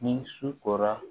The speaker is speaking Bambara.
Ni su kora